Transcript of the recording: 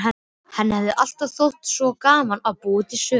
Henni hefur alltaf þótt svo gaman að búa til sögur.